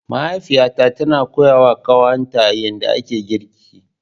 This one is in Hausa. Mahaifiyata tana koyawa kanwata yadda ake girki.